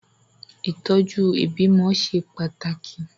Ìtọ́jú ìbímọ ṣe pàtàkì.